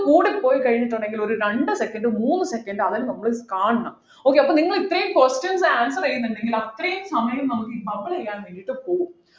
കൂടിപ്പോയി കഴിഞ്ഞിട്ടുണ്ടെങ്കിൽ ഒരു രണ്ട് second മൂന്ന് second ആണ് നമ്മൾ കാണണം okay അപ്പൊ നിങ്ങൾ ഇത്രയും questions answer ചെയ്യുന്നുണ്ടെങ്കിൽ അത്രയും സമയം നമുക്ക് bubble ചെയ്യാൻ വേണ്ടിയിട്ട് പോകും